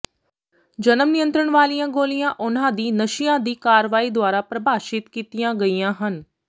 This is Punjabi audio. ਜਨਮ ਨਿਯੰਤਰਣ ਵਾਲੀਆਂ ਗੋਲੀਆਂ ਉਹਨਾਂ ਦੀ ਨਸ਼ਿਆਂ ਦੀ ਕਾਰਵਾਈ ਦੁਆਰਾ ਪ੍ਰਭਾਸ਼ਿਤ ਕੀਤੀਆਂ ਗਈਆਂ ਹਨ